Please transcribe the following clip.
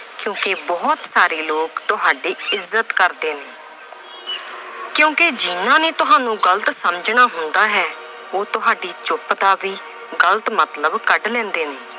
ਕਿਉਂਕਿ ਬਹੁਤ ਸਾਰੇ ਲੋਕ ਤੁਹਾਡੀ ਇੱਜਤ ਕਰਦੇ ਨੇ। ਕਿਉਂਕਿ ਜਿਹਨਾਂ ਨੇ ਤੁਹਾਨੂੰ ਗਲਤ ਸਮਝਣਾ ਹੁੰਦਾ ਹੈ, ਉਹ ਤੁਹਾਡੀ ਚੁੱਪ ਦਾ ਵੀ ਗਲਤ ਮਤਲਬ ਕੱਢ ਲੈਂਦੇ ਨੇ।